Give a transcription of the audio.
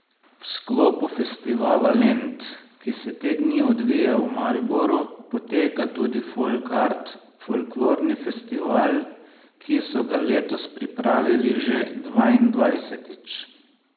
V sklopu Festivala Lent, ki se te dni odvija v Mariboru, poteka tudi Folkart, folklorni festival, ki so ga letos pripravili že dvaindvajsetič.